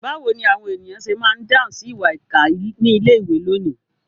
Báwo ni àwọn ènìyàn ṣe máa ń dáhùn sí ìwà ìkà ní ilé-ìwé lónìí?